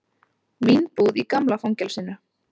Vínbúð í gamla fangelsinu